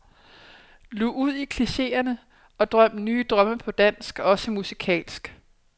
Lug ud i klicheerne og drøm nye drømme på dansk, også musikalsk.